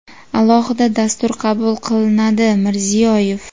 alohida dastur qabul qilinadi – Mirziyoyev.